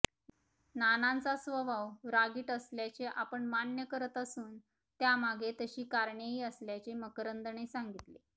नानांचा स्वभाव रागीट असल्याचे आपण मान्य करत असून त्यामागे तशी कारणेही असल्याचे मकरंदने सांगितले